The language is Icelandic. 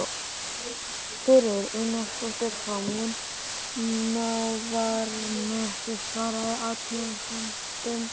Sigríður Einarsdóttir frá Munaðarnesi svaraði athugasemdum